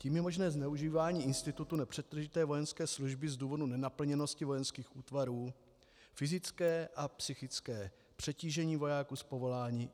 Tím je možné zneužívání institutu nepřetržité vojenské služby z důvodu nenaplněnosti vojenských útvarů, fyzické a psychické přetížení vojáků z povolání.